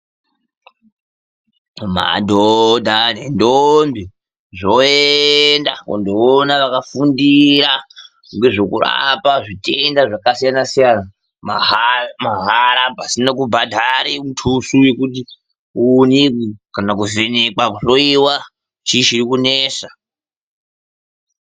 Madhodha nendombi zvoenda kunoona vakafundira nozvokurapa zvitenda zvakasiyana siyana mahara pasina kubhadhara mutoso yekuti uonekwe kana kuvhenekwa kuhloiwa kuti chini chikunesa.